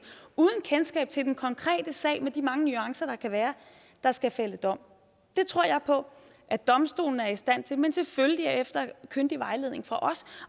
uden kendskab til den konkrete sag med de mange nuancer der kan være der skal fælde dom det tror jeg på at domstolene er i stand til men selvfølgelig efter kyndig vejledning fra os